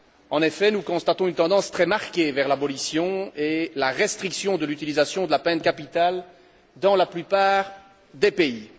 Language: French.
En effet, nous constatons une tendance très marquée vers l'abolition et la restriction de l'utilisation de la peine capitale dans la plupart des pays.